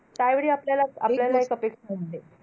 त्यावेळी आपल्याला आपल्याला हे तब्येत बिघडते.